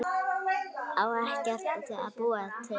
Á ekkert að búa til?